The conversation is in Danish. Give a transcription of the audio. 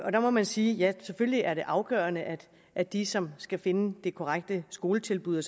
og der må man sige at det selvfølgelig er afgørende at at de som skal finde det korrekte skoletilbud